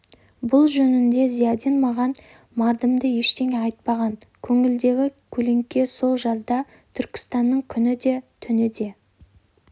бұл жөнінде зиядин маған мардымды ештеңе айтпаған көңілдегі көлеңке сол жазда түркістанның күні де түні де